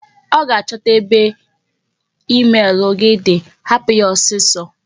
Ọ ga-achọta ebe emel gị di, hapụ ya ọsịsọ!